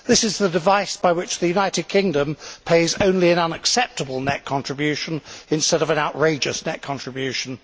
This is the device by which the United Kingdom pays only an unacceptable net contribution instead of an outrageous net contribution.